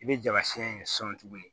I bɛ jama siyɛn in sɔn tuguni